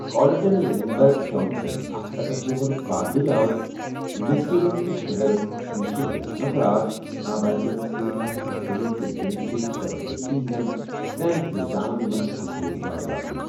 Carlton Lindbergh Johnson, اکھ سَتستتھَ وُہر پادٕرۍ آو مسکیگن کِس شہر مشیگنس منٛز راتھ نابالِغن سۭتۍ عصمت دری تہٕ جنسی زبردٔستی ہنٛدٮ۪ن ترین الزامن منٛز قصوٗروار لبنہٕ۔